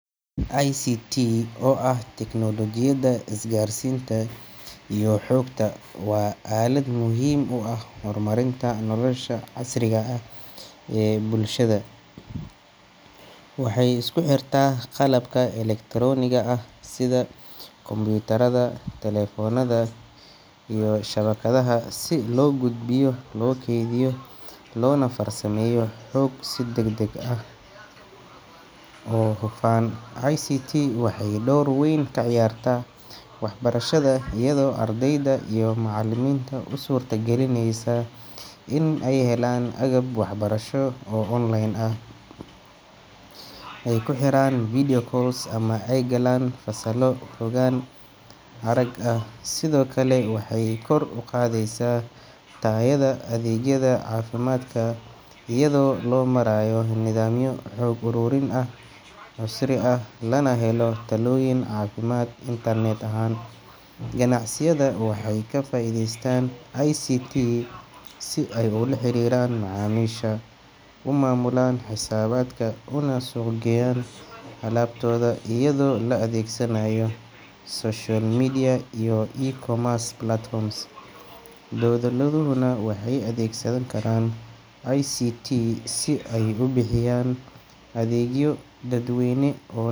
ICT oo ah tiknoolojiyadda isgaarsiinta iyo xogta waa aalad muhiim u ah horumarinta nolosha casriga ah ee bulshada. Waxay isku xirtaa qalabka elektarooniga ah sida kombiyuutarada, telefoonada, iyo shabakadaha si loo gudbiyo, loo kaydiyo, loona farsameeyo xog si degdeg ah oo hufan. ICT waxay door weyn ka ciyaartaa waxbarashada, iyadoo ardayda iyo macallimiinta u suurta galinaysa in ay helaan agab waxbarasho oo online ah, ay ku xiriiraan video call ama ay galaan fasallo fogaan arag ah. Sidoo kale, waxay kor u qaadaysaa tayada adeegyada caafimaadka iyada oo loo marayo nidaamyo xog ururin oo casri ah, lana helo talooyin caafimaad internet ahaan. Ganacsiyada waxay ka faa’iideystaan ICT si ay ula xiriiraan macaamiisha, u maamulaan xisaabaadka, una suuq geeyaan alaabtooda iyadoo la adeegsanayo social media iyo e-commerce platforms. Dowladuhuna waxay adeegsan karaan ICT si ay u bixiyaan adeegyo dadweyne oo.